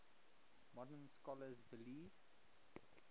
modern scholars believe